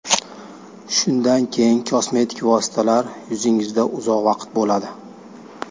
Shundan keyin kosmetik vositalar yuzingizda uzoq vaqt turadi.